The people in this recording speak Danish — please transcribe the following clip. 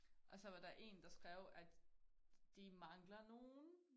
Og så var der én der skrev at de mangler nogen